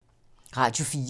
Radio 4